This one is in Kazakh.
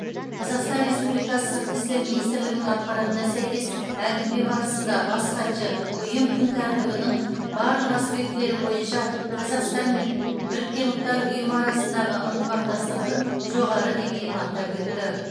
қазақстан республикасы сыртқы істер министрлігінің ақпаратына сәйкес әңгіме барысында бас хатшы ұйым күн тәртібінің барлық аспектілері бойынша қазақстан мен біріккен ұлттар ұйымы арасындағы ынтымақтастықтың жоғары деңгейін атап өтті